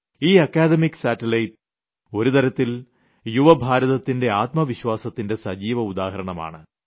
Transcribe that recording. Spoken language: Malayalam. ഈ അക്കാഡമിക്ക് സാറ്റ്ലൈറ്റ് ഒരു തരത്തിൽ യുവ ഭാരതത്തിന്റെ ആത്മ വിശ്വാസത്തിന്റെ സജീവ ഉദാഹരണമാണ്